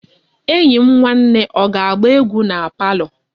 Enyi m nwanne o ga-agba egwu na palo?